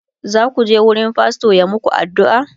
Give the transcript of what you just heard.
zaku je wurin fastor ya maku addu'a?